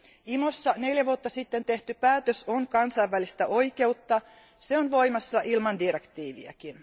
IMOssa neljä vuotta sitten tehty päätös on kansainvälistä oikeutta, ja se on voimassa ilman direktiiviäkin.